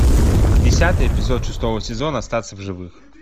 десятый эпизод шестого сезона остаться в живых